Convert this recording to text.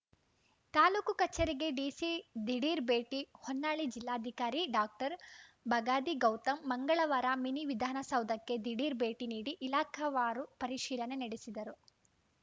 ತಾಲೂಕು ಕಚೇರಿಗೆ ಡಿಸಿ ದಿಢೀರ್‌ ಭೇಟಿ ಹೊನ್ನಾಳಿ ಜಿಲ್ಲಾಧಿಕಾರಿ ಡಾಕ್ಟರ್ ಬಗಾದಿ ಗೌತಮ್‌ ಮಂಗಳವಾರ ಮಿನಿ ವಿಧಾನಸೌಧಕ್ಕೆ ದಿಢೀರ್‌ ಭೆಟಿ ನೀಡಿ ಇಲಾಖಾವಾರು ಪರಿಶೀಲನೆ ನಡೆಸಿದರು